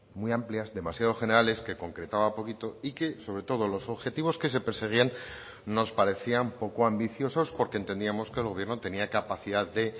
muy amplias demasiado generales que concretaba poquito y que sobre todo los objetivos que se perseguían nos parecían poco ambiciosos porque entendíamos que el gobierno tenía capacidad de